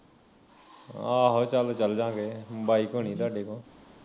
ਆਹੋ ਚੱਲ ਚੱਲਜਾ ਗੇ bike ਹੋਣੀ ਤੁਹਾਡੇ ਤੋਂ